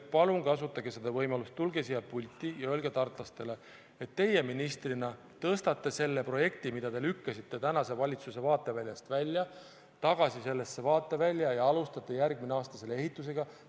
Palun kasutage võimalust, tulge siia pulti ja öelge tartlastele, et teie ministrina tõstate selle projekti, mida te lükkasite paeguse valitsuse vaateväljast välja, tagasi sellesse vaatevälja ja alustate järgmisel aastal ehitust!